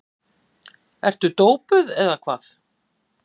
Ertu dópuð eða hvað?